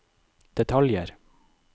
detaljer